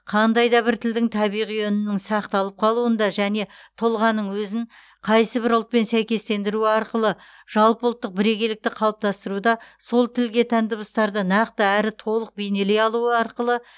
қандай да бір тілдің табиғи үнінің сақталып қалуында және тұлғаның өзін қайсыбір ұлтпен сәйкестендіруі арқылы жалпы ұлттық бірегейлікті қалыптастыруда сол тілге тән дыбыстарды нақты әрі толық бейнелей алуы арқылы